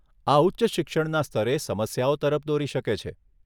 આ ઉચ્ચ શિક્ષણના સ્તરે સમસ્યાઓ તરફ દોરી શકે છે.